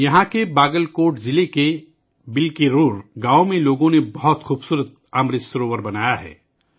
یہاں باگل کوٹ ضلع کے گاؤں 'بلکیرور ' میں لوگوں نے ایک بہت ہی خوبصورت امرت سروور بنایا ہے